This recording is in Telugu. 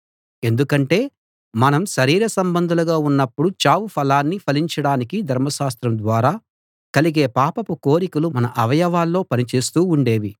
ఎందుకంటే మనం శరీర సంబంధులుగా ఉన్నప్పుడు చావు ఫలాన్ని ఫలించడానికి ధర్మశాస్త్రం ద్వారా కలిగే పాపపు కోరికలు మన అవయవాల్లో పని చేస్తూ ఉండేవి